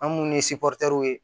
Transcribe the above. An munnu ye ye